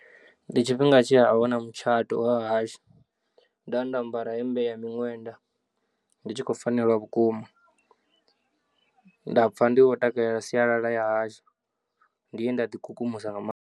Ndi tshifhinga tshi a hu na mutshato wa hashu nda nda ambara hemmbe ya miṅwenda ndi tshi khou fanelwa vhukuma nda pfha ndi wo takalela sialala ya hashu, ndi he nda ḓi kukumusa nga maanḓa.